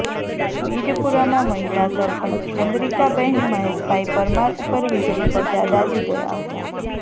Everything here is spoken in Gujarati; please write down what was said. વીડપુરામાં મહિલા સરપંચ ચંદ્રીકાબેન મહેશભાઈ પરમાર ઉપર વીજળી પડતાં દાઝી ગયાં હતાં